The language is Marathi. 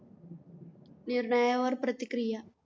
निर्णयावर प्रतिक्रिया.